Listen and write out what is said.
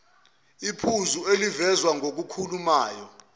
iphuzu elivezwa ngokhulumayo